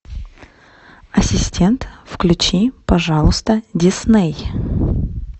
ассистент включи пожалуйста дисней